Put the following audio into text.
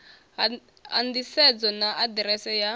ha nḓisedzo na aḓirese ya